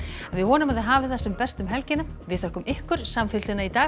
við vonum að þið hafið það sem best um helgina þökkum ykkur samfylgdina í dag